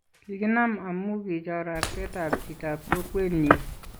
kikiknam amu kichor artetab chitab kokwenyin.